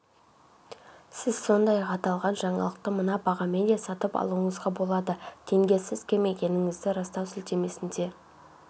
сіз сондай-ақ аталған жаңалықты мына бағамен де сатып алуыңызға болады тенге сіз кім екендігіңізді растау сілтемесіне